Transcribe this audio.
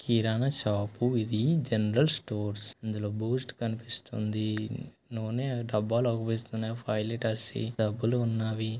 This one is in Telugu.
కిరణా షాపు ఇది జనరల్ స్టోర్స్ ఇందులో బూస్ట్ కనిపిస్తోంది నూనె డబ్బాలు అగుపిస్తున్నాయి ఫైవ్ లీటర్స్ వి డబ్బులు ఉన్నావి.